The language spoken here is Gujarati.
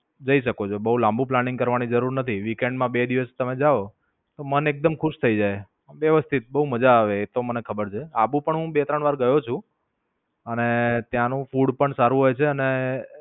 જઈ શકો છો. બોવ લાબું planning કરવાની જરૂર નથી. the weekend માં બે દિવસ તમે જાઓ તો મન એકદમ ખુશ થાય જાય. આમ વ્યવસ્થિત બોવ મજા આવે એ તો મને ખબર છે. આબુ પણ હું બે ત્રણ વાર ગયો છું. અને ત્યાં નું food પણ સારું હોય છે અને